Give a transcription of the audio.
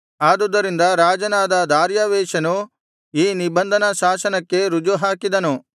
ಆದುದರಿಂದ ರಾಜನಾದ ದಾರ್ಯಾವೆಷನು ಆ ನಿಬಂಧನಶಾಸನಕ್ಕೆ ರುಜು ಹಾಕಿದನು